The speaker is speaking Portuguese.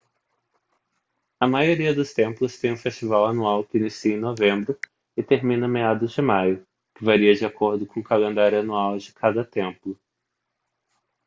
a maioria dos templos tem um festival anual que inicia em novembro e termina meados de maio que varia de acordo com o calendário anual de cada templo